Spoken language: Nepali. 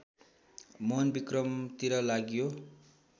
मोहनविक्रमतिर लागियो